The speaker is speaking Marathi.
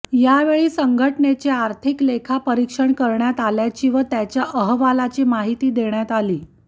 यावेळी संघटनेचे आर्थिक लेखापरीक्षण करण्यात आल्याची व त्याच्या अहवालाची माहिती देण्यात आली